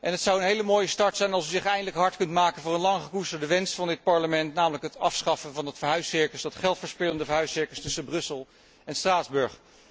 Het zou een hele mooie start zijn als u zich eindelijk hard kunt maken voor een lang gekoesterde wens van dit Parlement, namelijk het afschaffen van het verhuiscircus, dat geldverspillende verhuiscircus tussen Brussel en Straatsburg.